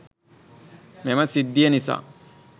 මෙම සිද්ධිය නිසා